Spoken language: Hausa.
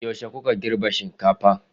Yaushe kuke girbin shinkafa?